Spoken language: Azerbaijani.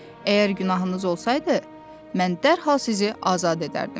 Əgər günahınız olsaydı, mən dərhal sizi azad edərdim.